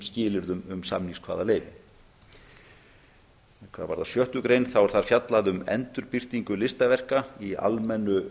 skilyrðum um samningskvaðaleyfi hvað varðar sjöttu grein er þar fjallað um endurbirtingu listaverka í almennu